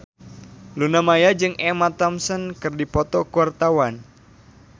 Luna Maya jeung Emma Thompson keur dipoto ku wartawan